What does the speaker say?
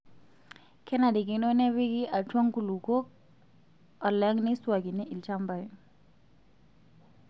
Kenarikino nepikii atwaa nkulupuok alang' neiswaakini ilchambai.